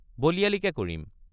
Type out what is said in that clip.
বলিয়ালিকে কৰিম।